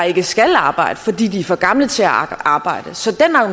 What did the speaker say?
ikke skal arbejde fordi de er for gamle til at arbejde